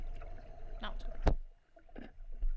Nautrup